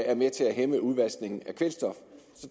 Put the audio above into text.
er med til at hæmme udvaskningen af kvælstof